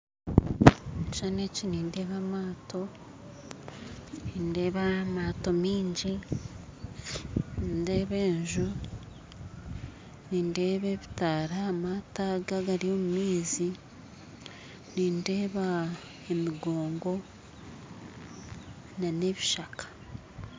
Omukishushani eki nindeeba amaato nindeeba amaato mingi nindeeba enju nindeeba ebitaara ahamaato aga agari omumaizi nindeeba emigoongo n'ebishaka.